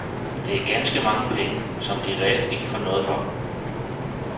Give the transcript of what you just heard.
Det er ganske mange penge, som de reelt ikke får noget for.